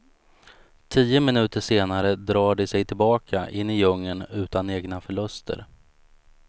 Tio minuter senare drar de sig tillbaka in i djungeln utan egna förluster.